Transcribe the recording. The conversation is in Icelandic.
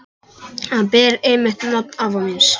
Hann ber einmitt nafn afa míns.